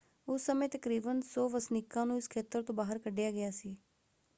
ਉਸ ਸਮੇਂ ਤਕਰੀਬਨ 100 ਵਸਨੀਕਾਂ ਨੂੰ ਇਸ ਖੇਤਰ ਤੋਂ ਬਾਹਰ ਕੱਢਿਆ ਗਿਆ ਸੀ।